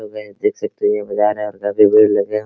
Hello guys देख सकते हैं ये बाजार है और भीड़ लगे है।